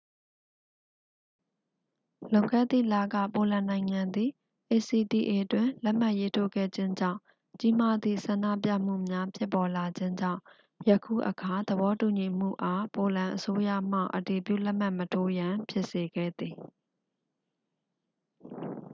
လွန်ခဲ့သည့်လက ပိုလန်နိုင်ငံသည် acta တွင် လက်မှတ်ရေးထိုးခဲ့ခြင်းကြောင့် ကြီးမားသည့် ဆန္ဒပြမှုများ ဖြစ်ပေါ်လာခြင်းကြောင့် ယခုအခါ သဘောတူညီမှုအား ပိုလန်အစိုးရမှ အတည်ပြုလက်မှတ်မထိုးရန် ဖြစ်စေခဲ့သည်